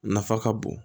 Nafa ka bon